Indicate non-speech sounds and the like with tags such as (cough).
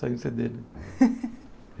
Saiu o Cê Dê, né? (laughs)